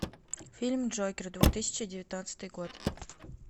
фильм джокер две тысячи девятнадцатый год